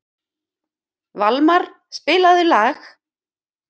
Valmar, spilaðu lag.